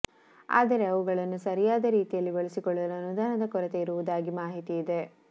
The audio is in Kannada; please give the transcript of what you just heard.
ಆದರೆ ಅವುಗಳನ್ನು ಸರಿಯಾದ ರೀತಿಯಲ್ಲಿ ಬಳಸಿಕೊಳ್ಳಲು ಅನುದಾನದ ಕೊರತೆ ಇರುವುದಾಗಿ ಮಾಹಿತಿ ಇದೆ